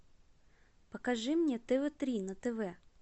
покажи мне тв три на тв